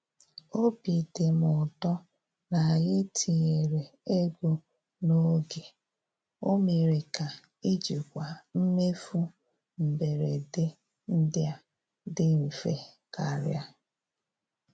Obi dị m ụtọ na anyị tinyere ego n'oge—o mere ka ijikwa mmefu mberede ndị a dị mfe karịa.